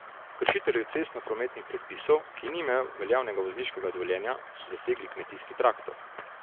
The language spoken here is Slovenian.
Kršitelju cestnoprometnih predpisov, ki ni imel veljavnega vozniškega dovoljenja, so zasegli kmetijski traktor.